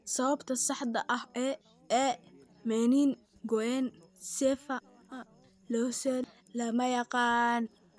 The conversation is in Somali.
Sababta saxda ah ee meningoencephalocele lama yaqaan.